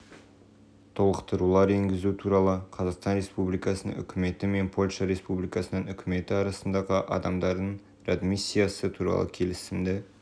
толықтырулар енгізу туралы қазақстан республикасының үкіметі мен польша республикасының үкіметі арасындағы адамдардың реадмиссиясы туралы келісімді